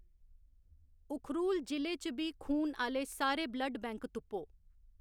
उखरूल जि'ले च बी खून आह्‌‌‌ले सारे ब्लड बैंक तुप्पो